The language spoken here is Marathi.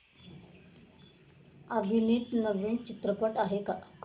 अभिनीत नवीन चित्रपट आहे का